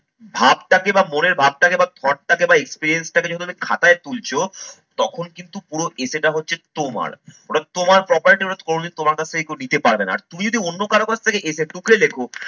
ভাবটাকে বা মনের ভাবটাকে বা thought টাকে বা experience টাকে যদি তুমি খাতায় তুলছো, তখন কিন্তু পুরো essay টা হচ্ছে তোমার। ওটা তোমার property এবার কোনদিন তোমার কাছ থেকে কেউ নিতে পারবে না। আর তুমি যদি অন্য কারো কাছ থেকে essay টুকরে লেখো